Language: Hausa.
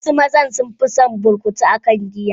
Wasu mazan sun fison burkutu akan giya.